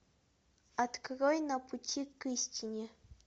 открой на пути к истине